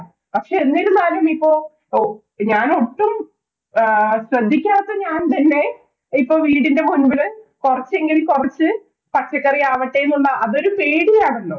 പക്ഷേ, എന്നിരുന്നാലും ഇപ്പൊ ഞാന്‍ ഒട്ടും ശ്രദ്ധിക്കാത്ത ഞാന്‍ തന്നെ ഇപ്പൊ വീടിന്‍റെ മുന്‍പില് കൊറച്ചെങ്കില്‍ കൊറച്ച് പച്ചക്കറിയാവട്ടെ എന്നുള്ള അത് ഒരു പേടിയാണല്ലോ?